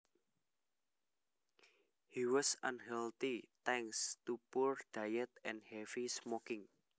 He was unhealthy thanks to poor diet and heavy smoking